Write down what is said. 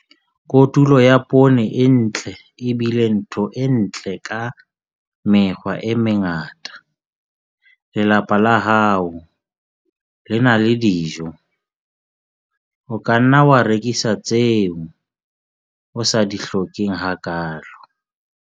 Kotulo ya poone e ntle e bile ntho e ntle ka mekgwa e mengata - lelapa la hao le na le dijo. O ka nna wa rekisa tseo o sa di hlokeng hakaalo.